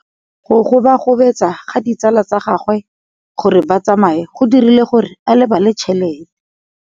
Go gobagobetsa ga ditsala tsa gagwe, gore ba tsamaye go dirile gore a lebale tšhelete.